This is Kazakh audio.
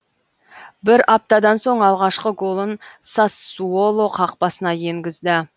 бір аптадан соң алғашқы голын сассуоло қақпасына енгізді